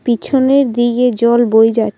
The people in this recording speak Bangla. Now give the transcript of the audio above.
পিছনের দিকে জল বয়ে যায়।